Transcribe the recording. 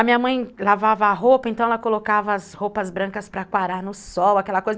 A minha mãe lavava a roupa, então ela colocava as roupas brancas para quarar no sol, aquela coisa.